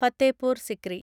Fatehpur Sikri